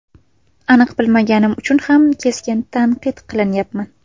Aniq bilmaganim uchun ham keskin tanqid qilmayman.